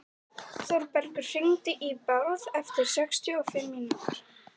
Þórbergur, hringdu í Bárð eftir sextíu og fimm mínútur.